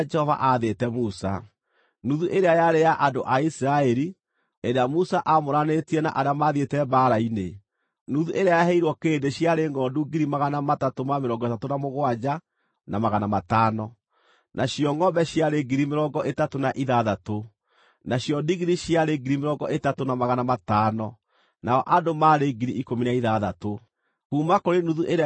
Kuuma kũrĩ nuthu ĩrĩa yaheirwo andũ a Isiraeli, Musa agĩthuura mũndũ ũmwe kuuma kũrĩ andũ mĩrongo ĩtano, na nyamũ ĩmwe kuuma kũrĩ nyamũ mĩrongo ĩtano, o ta ũrĩa Jehova aamwathĩte, na agĩcihe Alawii arĩa wĩra wao warĩ kũmenyerera Hema-ĩrĩa-Nyamũre ya Jehova.